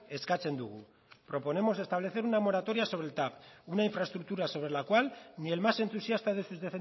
eskatzen dugu proponemos establecer una moratoria sobre el tav una infraestructura sobre la cual ni el más entusiasta de sus